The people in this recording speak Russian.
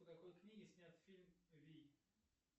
по какой книге снят фильм вий